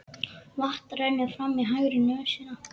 Vatn rennur fram í hægri nösina.